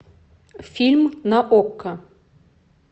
фильм на окко